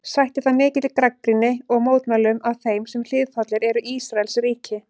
Sætti það mikilli gagnrýni og mótmælum af þeim sem hliðhollir eru Ísraelsríki.